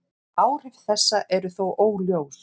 Áhrif þessa eru þó óljós.